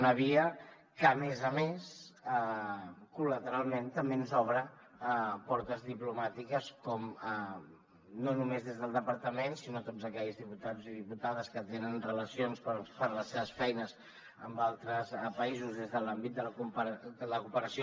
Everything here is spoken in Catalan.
una via que a més a més col·lateralment també ens obre portes diplomàtiques no només des del departament sinó de tots aquells diputats i diputades que tenen relacions per les seves feines amb altres països des de l’àmbit de la cooperació